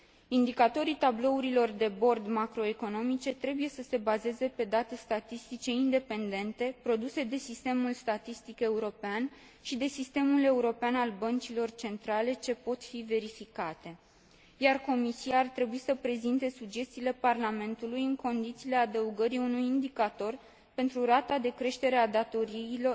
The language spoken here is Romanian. Indicatorii tablourilor de bord macroeconomice trebuie să se bazeze pe date statistice independente, produse de sistemul statistic european și de Sistemul European al Băncilor Centrale, ce pot fi verificate, iar Comisia ar trebui să prezinte sugestiile Parlamentului în condițiile adăugării unui indicator pentru rata de creștere a datoriilor